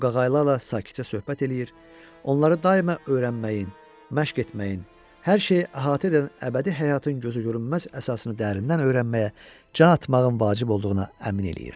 O qaqaylarla sakitcə söhbət eləyir, onları daima öyrənməyin, məşq etməyin, hər şeyi əhatə edən əbədi həyatın gözü görünməz əsasını dərindən öyrənməyə, can atmağın vacib olduğuna əmin eləyirdi.